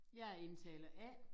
Jeg er indtaler A